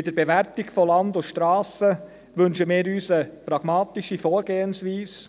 Bei der Bewertung von Land und Strassen wünschen wir uns eine pragmatische Vorgehensweise,